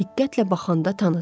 Diqqətlə baxanda tanıdım.